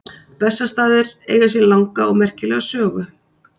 Bessastaðir eiga sér langa og merkilega sögu.